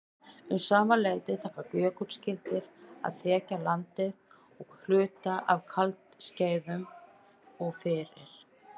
Um sama leyti taka jökulskildir að þekja landið að hluta á kuldaskeiðum og fyrir